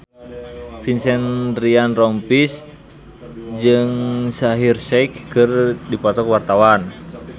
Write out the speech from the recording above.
Vincent Ryan Rompies jeung Shaheer Sheikh keur dipoto ku wartawan